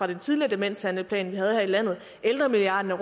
den tidligere demenshandleplan vi havde her i landet ældremilliarden